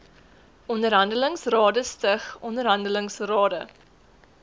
onderhandelingsrade stig onderhandelingsrade